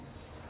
Yoxdur.